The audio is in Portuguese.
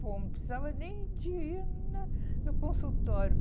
bom. Não precisava nem de ir no no consultório.